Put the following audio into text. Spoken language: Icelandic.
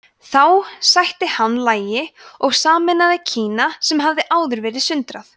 þá sætti hann lagi og sameinaði kína sem hafði áður verið sundrað